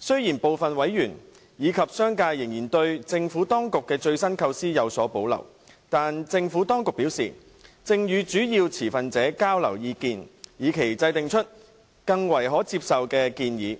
雖然部分委員及商界仍然對政府當局的最新構思有所保留，但政府當局表示，正與主要持份者交流意見，以期制訂出較為可接受的建議。